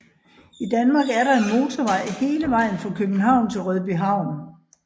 I Danmark er der motorvej hele vejen fra København til Rødbyhavn